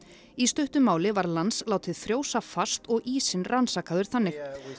í stuttu máli var Lance látið frjósa fast og ísinn rannsakaður þannig